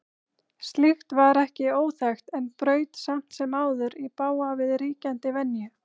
Slíkt var ekki óþekkt en braut samt sem áður í bága við ríkjandi venju.